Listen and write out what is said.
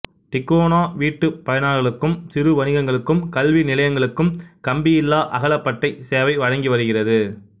டிகோணா வீட்டுப் பயனாளர்களுக்கும் சிறு வணிகங்களுக்கும் கல்வி நிலையங்களுக்கும் கம்பியில்லா அகலப்பட்டை சேவை வழங்கி வருகிறது